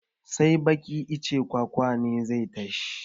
Sai baɗi icen kwakwa na zai tashi